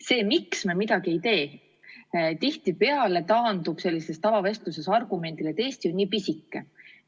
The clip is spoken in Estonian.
See, miks me midagi ei tee, tihtipeale taandub sellistes tavavestlustes argumendile, et Eesti on nii pisike.